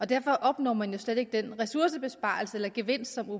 derfor opnår man jo slet ikke den ressourcebesparelse eller gevinst som den